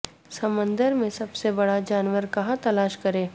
سمندر میں سب سے بڑا جانور کہاں تلاش کریں